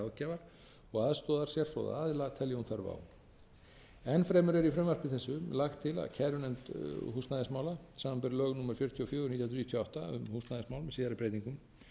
að kalla til ráðgjafar og aðstoðar sérfróða aðila telji hún þörf á enn fremur er í frumvarpi þessu lagt til að kærunefnd húsnæðismála samanber lög númer fjörutíu og fjögur nítján hundruð níutíu og átta um húsnæðismál með síðari breytingum